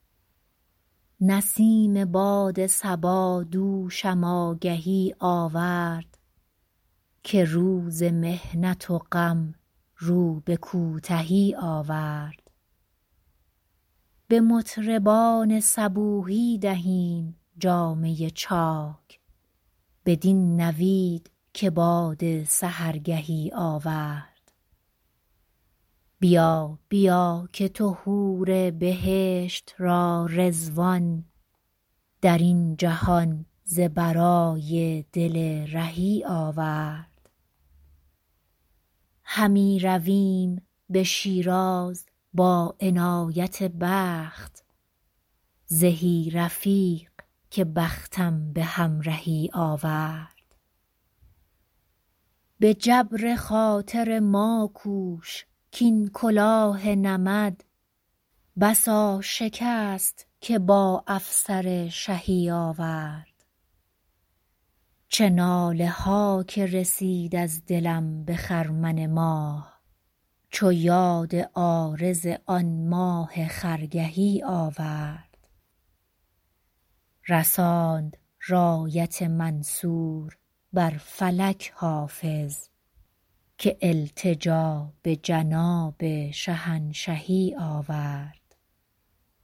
برید باد صبا دوشم آگهی آورد که روز محنت و غم رو به کوتهی آورد به مطربان صبوحی دهیم جامه چاک بدین نوید که باد سحرگهی آورد بیا بیا که تو حور بهشت را رضوان در این جهان ز برای دل رهی آورد همی رویم به شیراز با عنایت دوست زهی رفیق که بختم به همرهی آورد به جبر خاطر ما کوش کـ این کلاه نمد بسا شکست که با افسر شهی آورد چه ناله ها که رسید از دلم به خرمن ماه چو یاد عارض آن ماه خرگهی آورد رساند رایت منصور بر فلک حافظ که التجا به جناب شهنشهی آورد